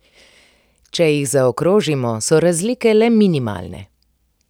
Če jih zaokrožimo, so razlike le minimalne.